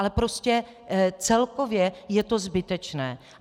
Ale prostě celkově je to zbytečné.